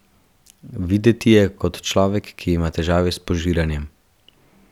Videti je kot človek, ki ima težave s požiranjem.